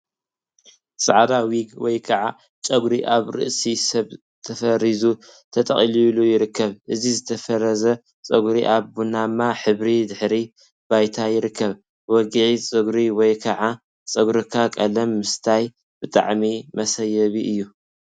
ፃዕዳ ዊግ ወይ ከዓ ጨጉሪ አብ ርእሲ ሰብ ተፈሪዙ/ተጠቅሊሉ ይርከብ፡፡ እዚ ዝተፈረዘ ፀጉሪ አብ ቡናማ ሕብሪ ድሕረ ባይታ ይርከብ፡፡ ዊግ ፀጉሪ ወይ ከዓ ፀጉርካ ቀለም ምስታይ ብጣዕሚ መሰየቢ እዩ፡፡